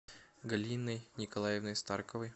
галиной николаевной старковой